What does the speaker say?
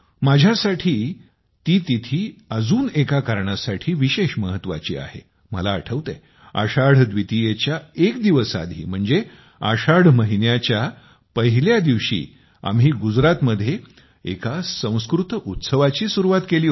माझ्यासाठी ती तिथी अजून एका कारणासाठी विशेष महत्त्वाची आहे मला आठवतंय आषाढ द्वितीयेच्या एक दिवस आधी म्हणजे आषाढ महिन्याच्या पहिल्या दिवशी आम्ही गुजरातमध्ये एका संस्कृत उत्सवाची सुरुवात केली होती